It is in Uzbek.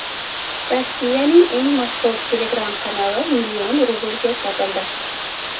Rossiyaning eng mashhur Telegram-kanali million rublga sotildi.